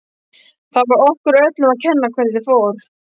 Það var okkur öllum að kenna hvernig fór.